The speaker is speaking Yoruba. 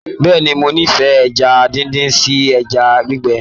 Bẹ́ẹ̀ni, mo n'ifẹ ẹja díndín sí ẹja gbígbẹ.